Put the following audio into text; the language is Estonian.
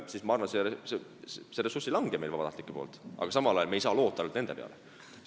Siis, ma arvan, see vabatahtlike ressurss ei vähene, aga samal ajal ei saa me loota ainult nende peale.